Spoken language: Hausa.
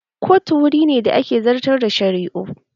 Kotu wuri ne da ake zartar da shari'u